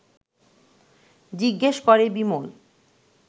জিজ্ঞেস করে বিমল